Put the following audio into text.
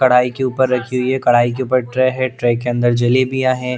कढ़ाई के ऊपर रखी हुई है कढ़ाई के ऊपर ट्रे है ट्रे के अंदर जलेबियां है।